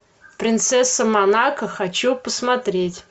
принцесса монако хочу посмотреть